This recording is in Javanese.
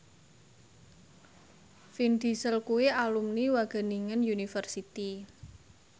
Vin Diesel kuwi alumni Wageningen University